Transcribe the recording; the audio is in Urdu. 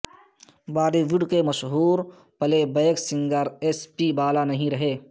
بالی وڈ کے مشہور playback singer S P Bala نہیں رہے